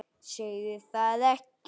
Segðu það ekki